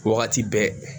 Wagati bɛɛ